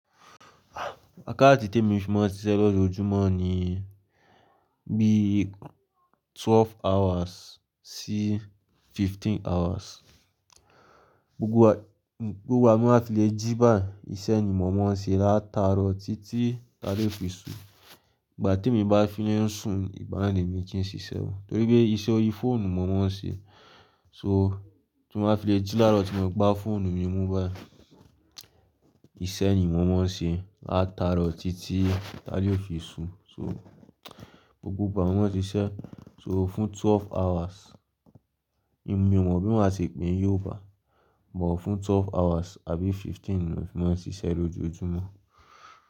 Wakáàtì tí èmi fi máa ń ṣiṣẹ́ lójoojúmọ́ ni bí i twelve hours sí fifteen hours. Gbogbo igba, gbogbo igba ti mo fi lè jí bái, iṣẹ́ ni mo máa ń ṣe látaro títí ile a lè fi su. Ìgbà tí èmi bá fi ń sùn, ìgbanaa ni mo fì n ṣíṣẹ́ o. Nítorí pé iṣẹ́ orí fóònù mo máa ń ṣe. So tí mo fi lè jí láro tí mo gbá fóònù mi mú bái, iṣẹ́ yìí mo máa ń ṣe látaro titi t'alè fi su. So gbogbo ìgbà ni mo máa ń ṣiṣẹ́ so fún twelve hours. Èmi ò mọ̀ bí mo máa ṣe pè é ní Yorùbá, but fún twelve hours àbí fifteen ni mo máa ń ṣiṣẹ́ lójoojúmọ́.